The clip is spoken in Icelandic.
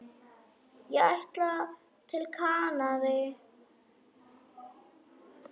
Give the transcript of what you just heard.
Ég ætla til Kanarí.